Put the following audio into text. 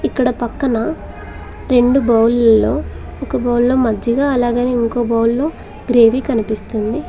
ఇక్కడ పక్కన రెండు బౌల్లో ఒక బౌల్లో మజ్జిగా అలాగని ఇంకో బౌల్లో గ్రేవీ కనిపిస్తుంది.